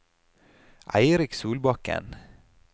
Eirik Solbakken